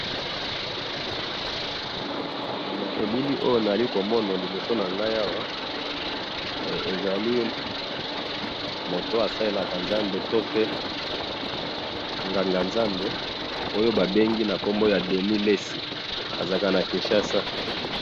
Eh! Na elili oyo nazali komona liboso nangayi awa, ezali mutu oyo asalelaka nzambe, tope nganga ya Nzambe, oyo babengi nakombo ya Denis lesi, azalaka na kinshasa.